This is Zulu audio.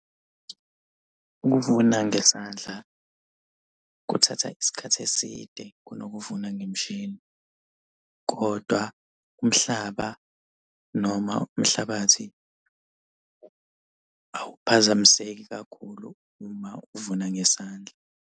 Ukuvuna ngesandla kuthatha isikhathi eside kunokuvuna ngemishini, kodwa umhlaba noma umhlabathi awuphazamiseki kakhulu uma uvuna ngesandla.